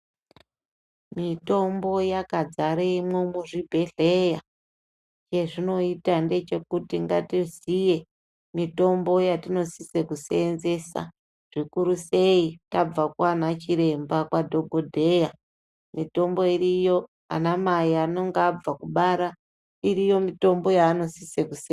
Mitombo yakadzaremwo muzvibhedhlyra chezvinoita ndechekuti ngatiziye mitombo yatinosise kuseenzesa. Zvikuru sei tabva kwaana chiremba kwadhogodheya. Mitombo iriyo, anamai inenge abva kubara, iriyo mitombo yaanosisa kuse...